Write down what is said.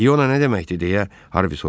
İona nə deməkdir, deyə Harvi soruşdu.